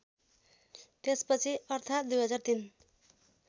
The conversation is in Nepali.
त्यसपछि अर्थात् २००३